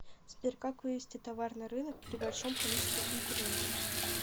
сбер как вывести товар на рынок при большом количестве конкурентов